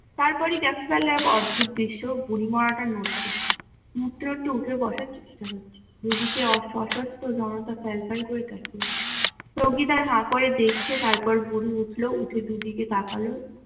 তারপরেই দেখা গেল এক অদ্ভুত দৃশ্য বুড়ি মরা টা নড়ছে, একটু একটু উঠে বসার চেষ্টা করছে, দু দিকে অস্ত জনতা প্যাল প্যাল করে তাকিয়ে চৌকিদার হাঁ করে দেখছে তারপর বুড়ি উঠলো উঠে দু দিকে তাকাল।